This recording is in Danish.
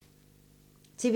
TV 2